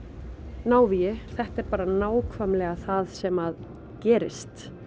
návígi þetta er bara nákvæmlega það sem gerist